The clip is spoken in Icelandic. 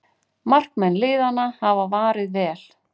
Markmenn liðanna hafa varið vel